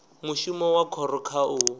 mushumo wa khoro kha u